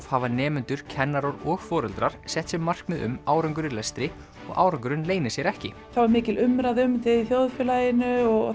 hafa nemendur kennarar og foreldrar sett sér markmið um árangur í lestri og árangurinn leynir sér ekki það var mikil umræða um þetta í þjóðfélaginu og